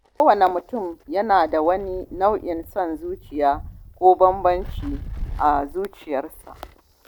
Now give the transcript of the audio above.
Kowane mutum yana da wani nau’in son zuciya ko bambanci a zuciyarsa.